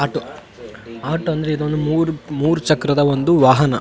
Auto ಅಂದ್ರೆ ಇದೊಂದು ಮೂರು ಚಕ್ರದ ಒಂದು ವಾಹನ.